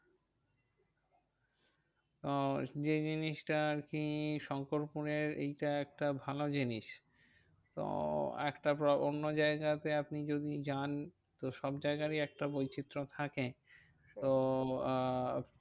তো যেই জিনিসটা আরকি শঙ্করপুরের এইটা একটা ভালো জিনিস। তো একটা অন্য জায়গায়তে আপনি যদি যান তো সব জায়গারই একটা বৈচিত্র থাকে। তো আহ